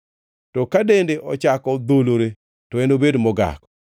To ka dende ochako dholore, to enobed mogak.